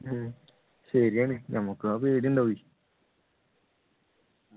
ഉം ശരിയാണ് ഞമ്മക്ക് ആ പേടി ഉണ്ടാവുമെ